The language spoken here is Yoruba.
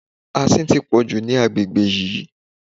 Asin tí pọ̀jù ní agbègbè yìí.